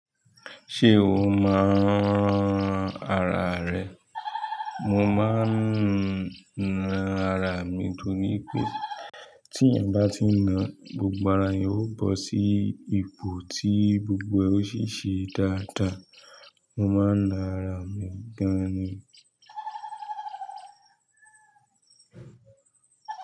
Ṣé o máa ń ran ara rẹ? Mo máa ń na ara mi torí pé tí eeyan bá ti ń na gbogbo ara, yóò bọ́ sí ipò tí gbogbo ẹ́ ó ṣiṣẹ́ dáadáa. Mo máa ń na ara mi gan-an ni.